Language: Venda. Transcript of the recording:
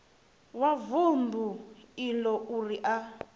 wa vundu iḽo uri a